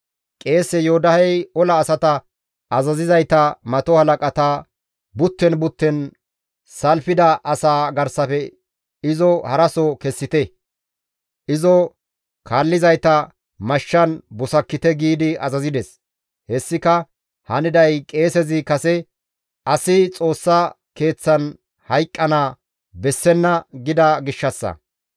Qeese Yoodahey ola asata azazizayta mato halaqata, «Butten butten salfida asaa garsafe izo haraso kessite; izo kaallizayta mashshan busakkite» giidi azazides; hessika haniday qeesezi kase, «Asi Xoossa Keeththan hayqqana bessenna» gida gishshassa.